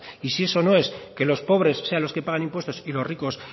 y si eso no es que los pobres sean los que pagan impuestos y los ricos